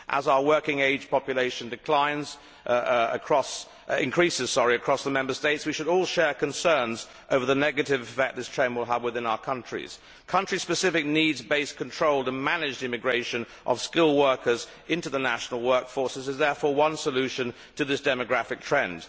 As our working age population declines across the Member States, we should all share concerns over the negative effect this trend will have within our countries. Country specific, needs based, controlled and managed immigration of skilled workers into the national workforces is therefore one solution to this demographic trend.